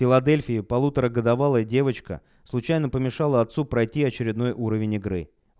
филадельфия полуторагодовалая девочка случайно помешало отцу пройти очередной уровень игры